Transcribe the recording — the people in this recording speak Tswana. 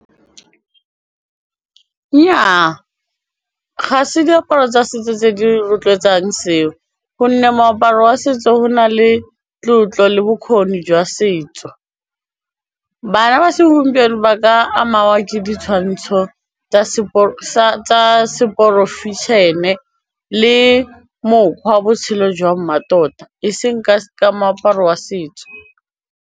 Nnyaa, ga se diaparo tsa setso tse di rotloetsang seo gonne moaparo wa setso go na le tlotlo le bokgoni jwa setso, bana ba segompieno ba ka ke ditshwantsho tsa se le mokgwa wa botshelo jwa mmatota eseng ka moaparo wa setso.